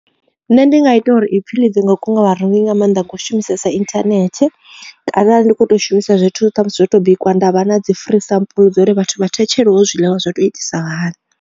Nṋe ndi nga ita uri ipfhi dzi nga kunga vha rengi nga maanḓa vho no shumisesa internet kana arali ndi kho to shumisa zwithu ṱhamusi zwo to bikwa nda vha na dzi free sample dzo ri vhathu vha thetshelevho zwiḽiwa zwo tou itisa hani.